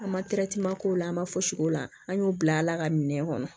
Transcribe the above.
An ma k'o la an ma fosi k'o la an y'o bila ala ka minɛ kɔnɔ